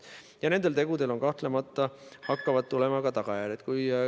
Ja nendel tegudel saavad kahtlemata olema ka tagajärjed.